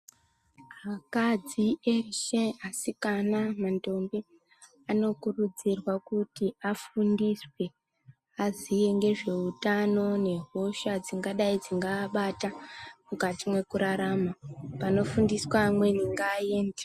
Akadzi eshe asikana nendombi, anokurudzirwa kuti afundiswe, aziye ngezveutano nehosha dzingadai dzingaabata, mukati mwekurarama. Panofundiswa amweni ngaaende.